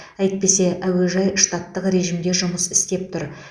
әйтпесе әуежай штаттық режімде жұмыс істеп тұр